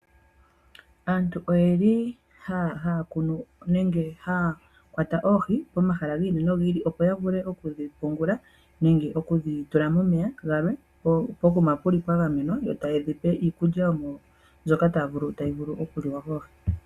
Aantu oyeli haya kunu nenge haya kwata oohi pomahala gi ili nogi ili opo ya vule oku dhi pungula nenge oku dhi tula momeya galwe pokuma puli pwa gamenwa, e taye dhi pe iikulya mbyono tayi vulu okuliwa koohi.